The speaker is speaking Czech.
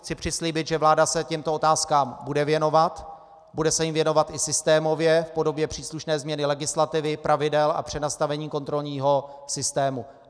Chci přislíbit, že vláda se těmto otázkám bude věnovat, bude se jim věnovat i systémově v podobě příslušné změny legislativy, pravidel a přenastavení kontrolního systému.